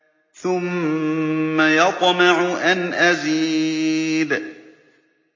ثُمَّ يَطْمَعُ أَنْ أَزِيدَ